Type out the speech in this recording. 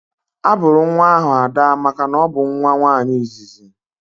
A bụrụ nwa ahụ Ada makana ọ bụ nwa nwaanyị izizi